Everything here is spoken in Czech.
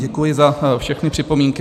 Děkuji za všechny připomínky.